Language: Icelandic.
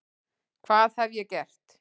hvað hef ég gert?